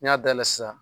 N'i y'a dayɛlɛ sisan